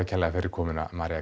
kærlega fyrir komuna María